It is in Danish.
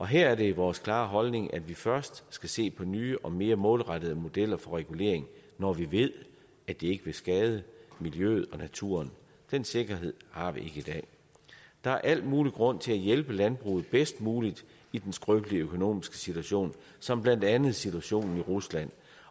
her er det vores klare holdning at vi først skal se på nye og mere målrettede modeller for regulering når vi ved at de ikke vil skade miljøet og naturen den sikkerhed har vi i dag der er al mulig grund til at hjælpe landbruget bedst muligt i den skrøbelige økonomiske situation som blandt andet skyldes situationen i rusland